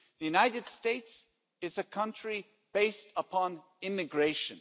The United States is a country based upon immigration.